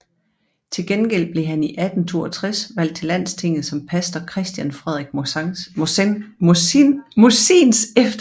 Til gengæld blev han i 1862 valgt til Landstinget som pastor Christian Frederik Mossins efterfølger